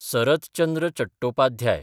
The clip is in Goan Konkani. सरत चंद्र चटोपाध्याय